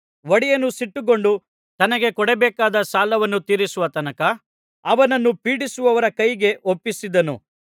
ಒಡೆಯನು ಸಿಟ್ಟುಗೊಂಡು ತನಗೆ ಕೊಡಬೇಕಾದ ಸಾಲವನ್ನು ತೀರಿಸುವ ತನಕ ಅವನನ್ನು ಪೀಡಿಸುವವರ ಕೈಗೆ ಒಪ್ಪಿಸಿದನು